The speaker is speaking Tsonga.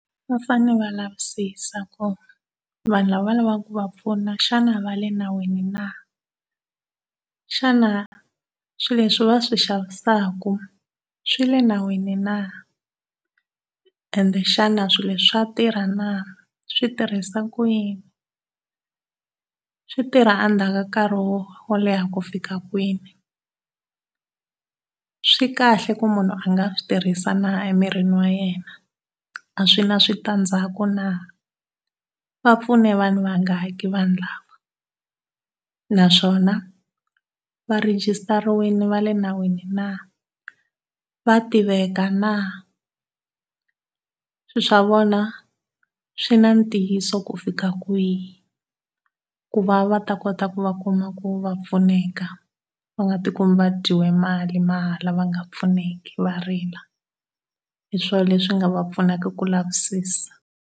Va fanele va lavisisa ku vanhu lava lavaka ku va osuna xana va le nawini na. Xana swilo leswi va swi xavisaka swi le nawini na? Ende xana swilo leswi swa tirha na? Swi tirhisa ku yini? Swi tirha endzhaku ka nkarhi wo wo leha ku fika kwihi? Swi kahle ku munhu a nga swi tirhisa na emirini wa yena? A swi na switandzhaku na? Va pfune vanhu vangaki vanhu lava? Naswona va rhegisitariwile va le nawini na? Va tiveka na? Swilo swa vona swi na ntiyiso ku fika kwihi? ku va va ta kota ku va kuma ku va pfuneka va nga ti kumi va dyiwe mali mahala va nga pfuneki va rila. Hi swona leswi nga va pfunaka ku lavisisa.